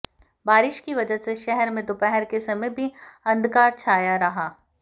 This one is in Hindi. बारिश की वजह से शहर में दोपहर के समय भी अंधकार छाया रहा